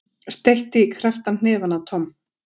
Steytti krepptan hnefa að Tom.